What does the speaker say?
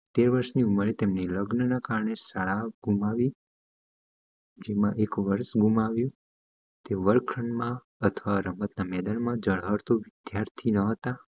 તેર વરસ ની ઉંમરે તેમના લગ્ન ના કારણે સાદા ગુમાવી જેમાં એક વરસ ગુમાવ્યું તે વર્ગ ખંડમાં અથવા રમત ગમત ના વિદ્યાર્થી ન હતા